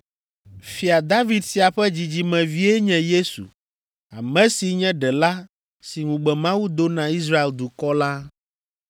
Fia David sia ƒe dzidzimevie nye Yesu, ame si nye Ɖela si ŋugbe Mawu do na Israel dukɔ la.”